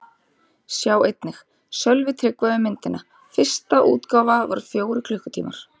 Sjá einnig: Sölvi Tryggva um myndina: Fyrsta útgáfa var fjórir klukkutímar